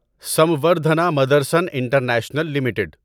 Samvardhana Motherson international limited